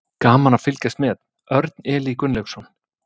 Gaman að fylgjast með: Örn Elí Gunnlaugsson.